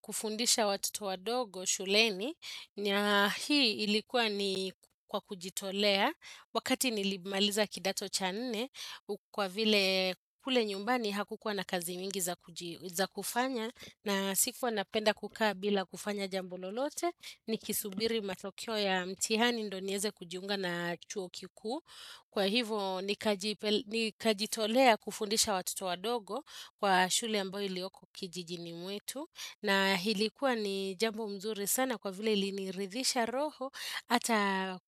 Kufundisha watoto wadogo shuleni ni hii ilikuwa ni kwa kujitolea wakati nilimaliza kidato cha nne kwa vile kule nyumbani hakukuwa na kazi mingi za kufanya na sikuwa napenda kukaa bila kufanya jambo lolote nikisubiri matokeo ya mtihani ndio niweze kujiunga na chuo kikuu. Kwa hivyo nikajitolea kufundisha watoto wadogo kwa shule ambayo ilioko kijijini mwetu. Na hii likuwa ni jambo mzuri sana kwa vile iliniridhisha roho. Hata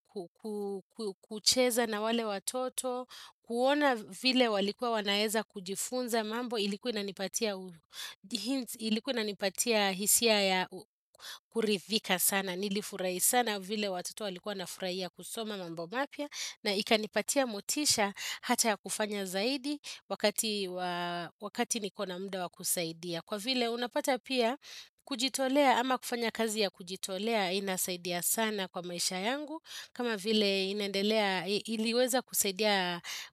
kucheza na wale watoto. Kuona vile walikuwa wanaeza kujifunza mambo. Ilikuwa inanipatia hisia ya kuridhika sana. Nilifurahi sana vile watoto walikuwa na furahia kusoma mambo mapya. Na ikanipatia motisha hata ya kufanya zaidi wakati nikona mda wa kusaidia Kwa vile unapata pia kujitolea ama kufanya kazi ya kujitolea inasaidia sana kwa maisha yangu kama vile inendelea iliweza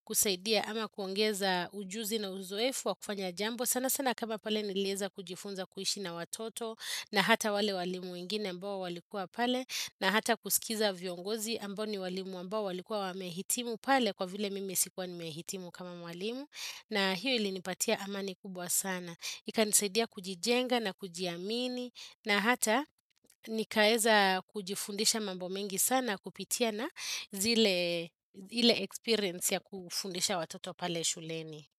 kusaidia ama kuongeza ujuzi na uzoefu wa kufanya jambo sana sana kama pale nileza kujifunza kuishi na watoto na hata wale walimu wengine ambao walikua pale na hata kusikiza viongozi ambao ni walimu ambao walikua wamehitimu pale kwa vile mime sikuwa nimehitimu kama walimu na hiyo ilinipatia amani kubwa sana. Ikanisaidia kujijenga na kujiamini na hata nikaeza kujifundisha mambo mengi sana kupitia na zile experience ya kufundisha watoto pale shuleni.